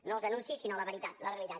no els anuncis sinó la veritat la realitat